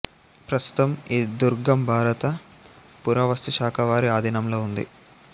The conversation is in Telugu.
ప్రస్తుతం ఈ దుర్గం భారత పురావస్తుశాఖ వారి ఆధీనంలో ఉంది